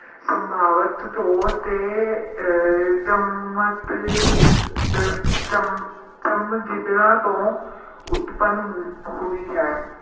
ਸੰਭਾਵਤ ਤੌਰ ਤੇ ਅਹ ਚਮ~ ਚਮਗਿੱਦੜਾਂ ਤੋਂ ਉਤਪੰਨ ਹੁ~ ਹੋਈ ਹੈ